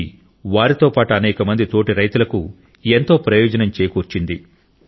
ఇది వారితో పాటు అనేకమంది తోటి రైతులకు ఎంతో ప్రయోజనం చేకూర్చింది